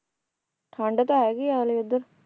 ਠੰਡ ਤਾਂ ਹੈਗੀ ਆ ਹਲੇ ਉਧਰ